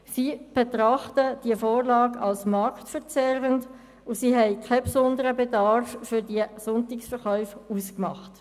Sie betrachten die Vorlage als marktverzerrend und machten keinen besonderen Bedarf für Sonntagsverkäufe aus.